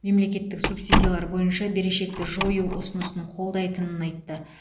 мемлекеттік субсидиялар бойынша берешекті жою ұсынысын қолдайтынын айтты